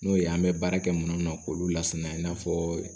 N'o ye an bɛ baara kɛ minnu k'olu lasinɛ in n'a fɔ